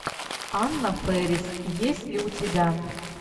анна фэрис есть ли у тебя